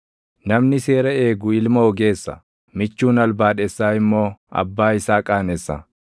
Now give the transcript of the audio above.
Namni seera eegu ilma ogeessa; michuun albaadhessaa immoo abbaa isaa qaanessa.